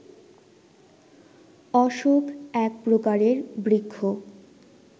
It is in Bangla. অশোক এক প্রকারের বৃক্ষ